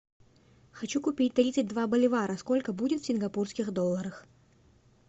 хочу купить тридцать два боливара сколько будет в сингапурских долларах